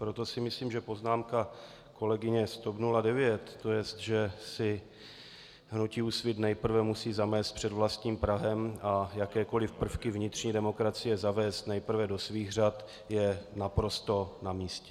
Proto si myslím, že poznámka kolegyně z TOP 09, to jest, že si hnutí Úsvit nejprve musí zamést před vlastním prahem a jakékoliv prvky vnitřní demokracie zavést nejprve do svých řad, je naprosto namístě.